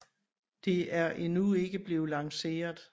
Det er endnu ikke blevet lanceret